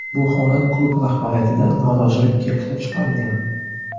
Bu holat klub rahbariyatida norozilik keltirib chiqargan.